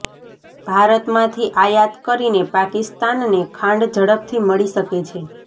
ભારતમાંથી આયાત કરીને પાકિસ્તાનને ખાંડ ઝડપથી મળી શકે છે